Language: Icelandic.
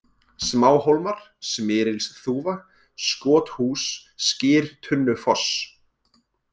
Smáhólmar, Smyrilsþúfa, Skothús, Skyrtunnufoss